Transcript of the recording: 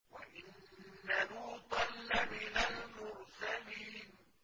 وَإِنَّ لُوطًا لَّمِنَ الْمُرْسَلِينَ